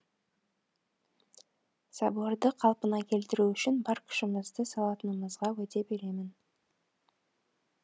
соборды қалпына келтіру үшін бар күшімізді салатынымызға уәде беремін